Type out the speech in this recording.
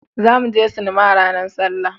za mu je sinima ranar sallah